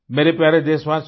मेरे प्यारे देशवासियों